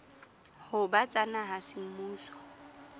ho ba tsa naha semmuso